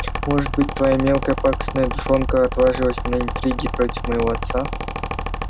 может быть твоя мелкая пакостная душонка отважилась на интриги против моего отца